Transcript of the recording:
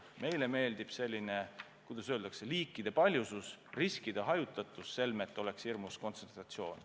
Meile meeldib, kuidas öelda, liikide paljusus, riskide hajutatus, selmet oleks hirmus kontsentratsioon.